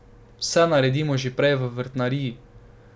Vse naredimo že prej v vrtnariji.